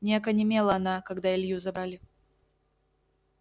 не окаменела она когда илью забрали